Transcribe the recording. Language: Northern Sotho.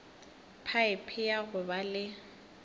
phaephe ya go ba le